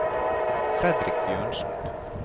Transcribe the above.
Fredrik Bjørnsen